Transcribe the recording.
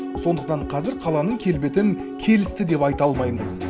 сондықтан қазір қаланың келбетін келісті деп айта алмаймыз